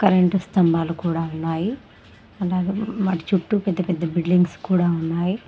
రెండు స్తంభాలు కూడా ఉన్నాయి అలాగే వాటి చుట్టూ పెద్ద పెద్ద బిల్డింగుస్ కూడా ఉన్నాయి.